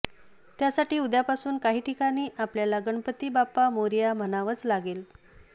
त्यासाठी उद्यापासून काही ठिकाणी आपल्याला गणपती बाप्पा मोरया म्हणावंच लागेल